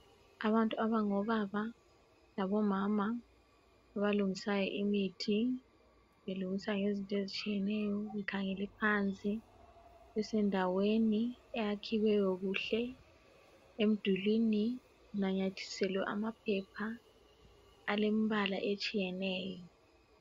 Abantu abangobaba labomama abalungisa imithi belungisa ngezinto ezitshiyeneyo bekhangele phansi besendaweni eyakhiweyo kuhle emdulini kunamathiselwe amaphepha alemibala etshiyeneyo.